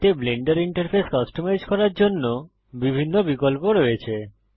এতে Blender interface customize করার জন্য বিভিন্ন বিকল্প রয়েছে